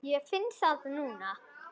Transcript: Ég finn það núna.